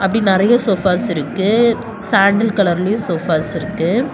இப்டி நெறைய சோஃபாஸ் இருக்கு சாண்டல் கலர்லயும் சோஃபாஸ் இருக்கு.